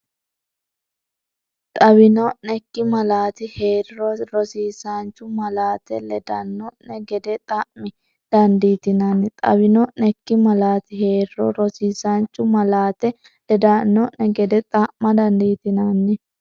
Xawino’nekki malaati hee’riro, rosiisaanchu malaate ledan- no’ne gede xa’ma dandiitinanni Xawino’nekki malaati hee’riro, rosiisaanchu malaate ledan- no’ne gede xa’ma dandiitinanni.